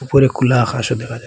উপরে খুলা আকাশও দেখা যায়।